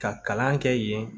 Ka kalan kɛ yen